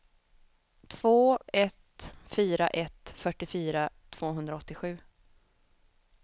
två ett fyra ett fyrtiofyra tvåhundraåttiosju